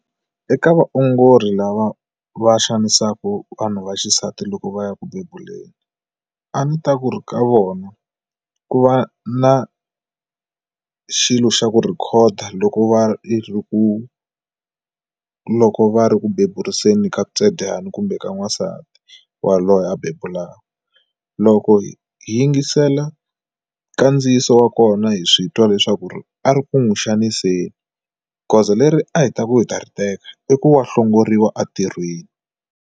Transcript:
Eka vaongori lava va xanisaka vanhu va xisati loko va ya ku bebuleni a ni ta ku ri ka vona ku va na xilo xa ku rhikhoda loko va ri ku loko va ri ku beburiseni ka ntswedyani kumbe ka n'wansati wa loyi a bebula loko hi yingisela kandziyiso wa kona hi swi twa leswaku a ri ku n'wi xaniseni goza leri a hi ta ku hi ta ri teka i ku wa hlongoriwa entirhweni.